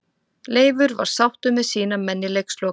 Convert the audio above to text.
Leifur var sáttur með sína menn í leikslok.